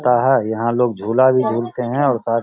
ता हा यहाँ लोग झूला भी झूलते है और साथ --